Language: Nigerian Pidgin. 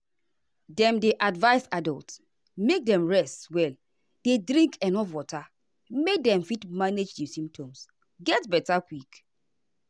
dem dey advise adults make dem rest well dey drink enuf water make dem fit manage di symptoms get beta quick.